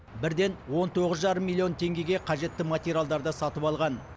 бірден он тоғыз жарым миллион теңгеге қажетті материалдарды сатып алған